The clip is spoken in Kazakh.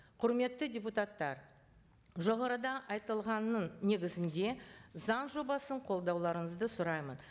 құрметті депутаттар жоғарыда айтылғанның негізінде заң жобасын қолдауларыңызды сұраймын